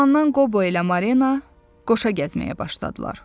O zamandan Qobo ilə Marina qoşa gəzməyə başladılar.